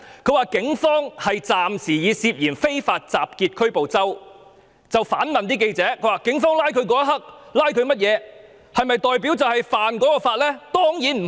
他說警方暫時以涉嫌"非法集結"拘捕周同學，而且反問記者，警方拘捕他的時候指出某項罪名，是否表示他就是干犯那項罪行？